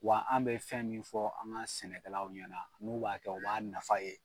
Wa an be fɛn min fɔ an ka sɛnɛkɛlaw ɲɛna n'u b'a kɛ u b'a nafa ye